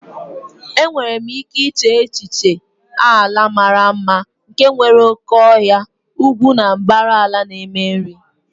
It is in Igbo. Enwere m ike iche n'echiche ala mara mma nke nwere oke ọhịa, ugwu ugwu na mbara ala na-eme nri.